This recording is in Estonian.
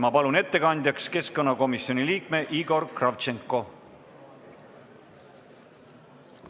Ma palun ettekandjaks keskkonnakomisjoni liikme Igor Kravtšenko!